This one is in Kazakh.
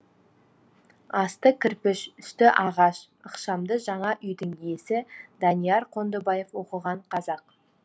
асты кірпіш үсті ағаш ықшамды жаңа үйдің иесі данияр қондыбаев оқыған қазақ